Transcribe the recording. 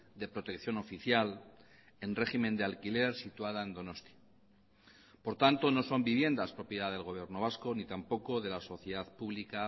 de protección oficial en régimen de alquiler situada en donostia por tanto no son viviendas propiedad del gobierno vasco ni tampoco de la sociedad pública